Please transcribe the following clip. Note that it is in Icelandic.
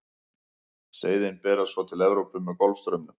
seiðin berast svo til evrópu með golfstraumnum